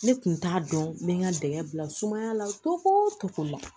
Ne tun t'a dɔn n bɛ n ka dɛgɛ bila sumaya la tɔgɔ o cogo la